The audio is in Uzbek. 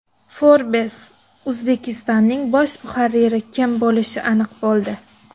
Forbes Uzbekistan’ning bosh muharriri kim bo‘lishi aniq bo‘ldi.